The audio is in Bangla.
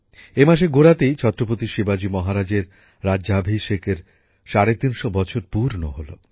এই মাসের গোড়াতেই ছত্রপতি শিবাজি মহারাজের রাজ্যাভিষেকের ৩৫০ বছর পূর্ণ হল